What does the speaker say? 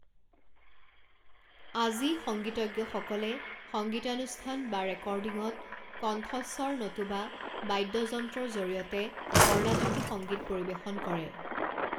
আজি, সংগীতজ্ঞসকলে সংগীতানুষ্ঠান বা ৰেকৰ্ডিঙত, কণ্ঠস্বৰ নতুবা বাদ্যযন্ত্ৰৰ জৰিয়তে কৰ্ণাটকী সংগীত পৰিৱেশন কৰে।